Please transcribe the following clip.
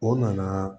O nana